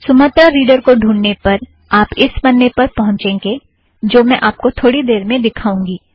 Sumatra reader को ढूँढने पर आप इस पन्ने में पहुँचेंगे जो मैं आपको थोड़ी देर में दिखाऊँगी